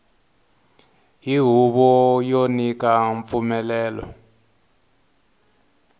hi huvo yo nyika mpfumelelo